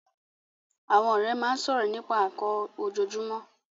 Àwọn ọ̀rẹ́ máa ń sọ̀rọ̀ nípa nnkan ojoojúmọ́